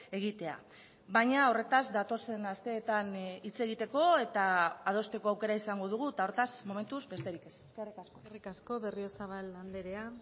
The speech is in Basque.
egitea baina horretaz datozen asteetan hitz egiteko eta adosteko aukera izango dugu eta hortaz momentuz besterik ez eskerrik asko eskerrik asko berriozabal andrea